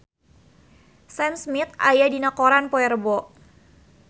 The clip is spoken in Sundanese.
Sam Smith aya dina koran poe Rebo